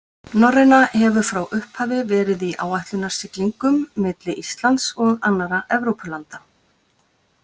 Norræna hefur frá upphafi verið í áætlunarsiglingum milli Íslands og annarra Evrópulanda.